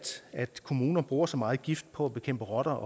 kommuner bruger så meget gift på at bekæmpe rotter